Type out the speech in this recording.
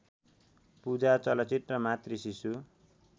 पूजा चलचित्र मातृशिशु